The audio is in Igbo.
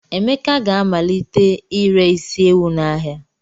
Emeka ga-amalite ire isi ewu n'ahịa.